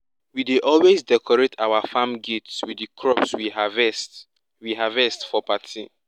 we dey always decorate our farm gates with di crops we harvest we harvest for party